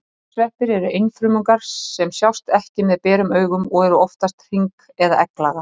Gersveppir eru einfrumungar sem sjást ekki með berum augum og eru oftast hring- eða egglaga.